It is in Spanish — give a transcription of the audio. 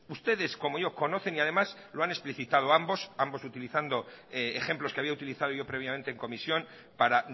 ustedes como yo conocen y además lo han explicitado ambos ambos utilizando ejemplos que había utilizado yo previamente en comisión para